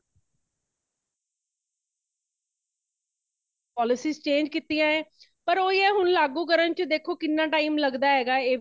polices change ਕੀਤਿਆਂ ਹੈ ,ਪਰ ਓਹੀ ਹੈ ,ਹੁਣ ਲਾਗੁ ਕਰਨ ਵਿੱਚ ਦੇਖੋ ਕਿਨੈ time ਲੱਗਦਾ ਹੈਗਾ